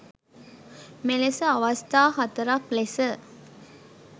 මෙලෙස අවස්ථා හතරක් ලෙස